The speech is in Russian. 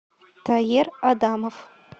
таер адамов